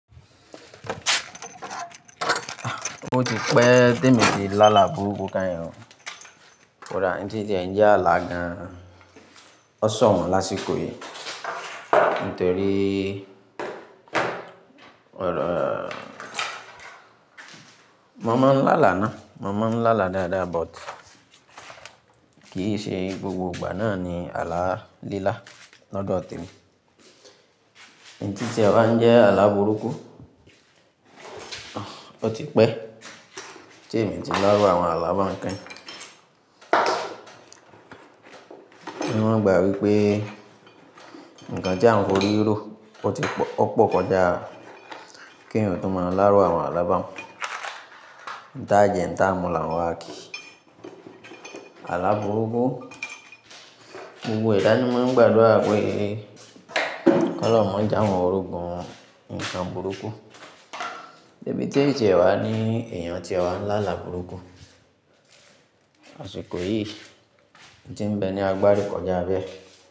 O ti pẹ́ tèmi ti láàlá burúkú keyin o. Koda ití n tie jẹ́ àlá gan, o sàn wọ́n lásìkò yì Nítorí, ọ̀rọ Mo máa ń láàlá ná. Mo máa ń láàlá dáadáa but kì ṣe gbogbo ìgbà ná ní àlá lílá lọ́dọ̀ temi. Ìtí n tiẹ̀ ba ń jẹ́ àlá burúkú, o ti pẹ́ tí èmi ti láárú àwọn àlá báwon yen kẹ́yin Níwọ́n ìgbà wípé, ǹkan tí àwọn fi orí ro ó ti pọ̀ ó pọ̀ kọjá kí èyan tun ma láárú àwọn àlá báun. Ǹta jẹ́ ǹta mú là n wa kí. Àlá burúkú, gbogbo ẹ̀dá ni maa n gbàdúrà pé, kolọ́hun ma je awọn rogun ǹkan burúkú. Bí ti n tie wa ní èèyàn tie wá ń láàlá burúkú, àsìkò yì, ití ń bẹ ni agbari kọjá bẹ́ẹ̀.